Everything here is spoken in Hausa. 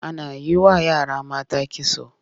Ana yi wa yara mata kitso.